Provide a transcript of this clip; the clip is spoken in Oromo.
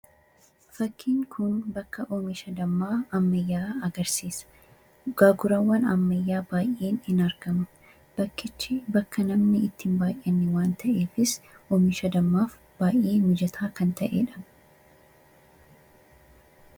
fakkiin kun bakka oomisha dammaa ammayyaa agarsiisa gaagurawwan ammayyaa baay'een hin argamu bakkichi bakka namni itti hin baay'enne waan ta'eefis oomisha dammaaf baay'ee mijataa kan ta'ee dha.